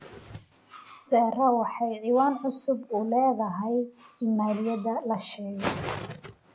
sarah waxay cinwaan cusub u leedahay iimaylada la sheegay